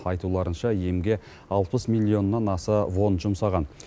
айтуларынша емге алпыс миллионнан аса вон жұмсаған